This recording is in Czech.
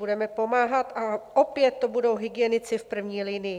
Budeme pomáhat a opět to budou hygienici v první linii.